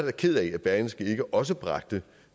er ked af at berlingske ikke også bragte